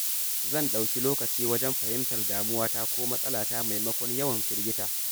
Zan ɗauki lokaci wajen fahimtar damuwata ko matsalata maimakon yawan firgita.